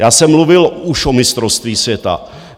Já jsem mluvil už o mistrovství světa.